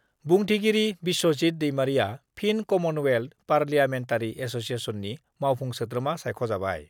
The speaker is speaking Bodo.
बुंथिगिरि बिस्वजित दैमारिआ फिन कमनवेल्थ पार्लियामेनटारि एस'सियेसननि मावफुं सोद्रोमा सायख'जाबाय